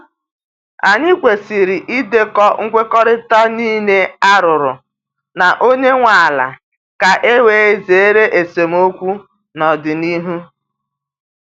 Anyị kwesịrị idekọ nkwekọrịta niile a rụrụ na onye nwe ala ka e wee zere esemokwu n’ọdịnihu.